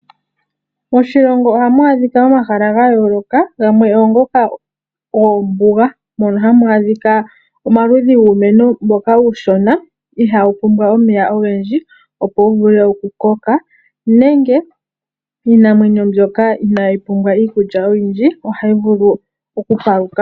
Moshilongo ohamu adhika omahala ga yooloka, gamwe ogo ngoka gombuga, mono hamu adhika omaludhi guumeno uushona mbono ihaawu pumbwa omeya ogendji, opo wu vule oku koka nenge iinamwenyo mbyoka inaayi pumbwa iikulya oyindji ohayi vulu oku ka la mo.